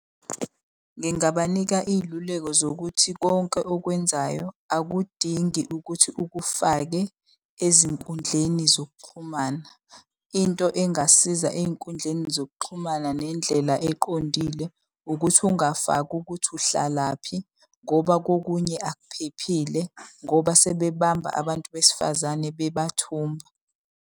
Ngingabanika iy'luleko zokuthi konke okwenzayo akudingi ukuthi ukufake ezinkundleni zokuxhumana. Into engasiza ey'nkundleni zokuxhumana nendlela eqondile, ukuthi ungafaki ukuthi uhlalaphi ngoba kokunye akuphephile. Ngoba sebebamba abantu besifazane bebathumbe.